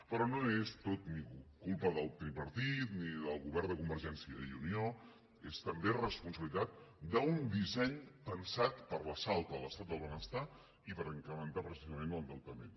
però no és tot culpa del tripartit ni del govern de convergència i unió és també responsabilitat d’un disseny pensat per a l’assalt a l’estat del benestar i per incrementar precisament l’endeutament